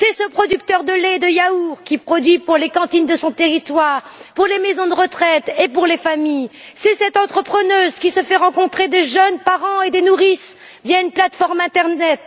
C'est ce producteur de lait et de yaourts qui produit pour les cantines de son territoire, pour les maisons de retraite et pour les familles. C'est cette entrepreneuse qui organise des rencontres entre des jeunes parents et des nourrices par l'intermédiaire d'une plateforme internet.